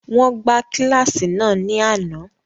Wọn gba kíláàsì naa ni ánà.